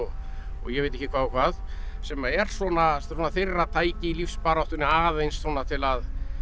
ég veit ekki hvað og hvað sem er svona þeirra tæki í lífsbaráttunni aðeins til að